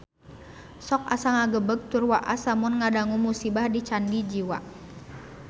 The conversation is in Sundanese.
Sok asa ngagebeg tur waas lamun ngadangu musibah di Candi Jiwa